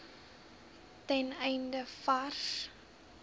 ten einde vars